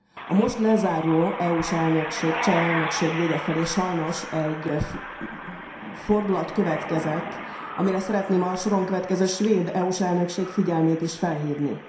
A most lezáruló EU s elnökség, a cseh elnökség vége felé sajnos egy fordulat következett, amire szeretném a soron következő svéd EU s elnökség figyelmét is felhívni.